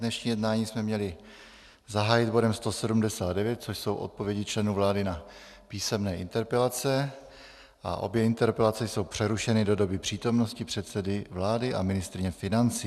Dnešní jednání jsme měli zahájit bodem 179, což jsou odpovědi členů vlády na písemné interpelace, a obě interpelace jsou přerušeny do doby přítomnosti předsedy vlády a ministryně financí.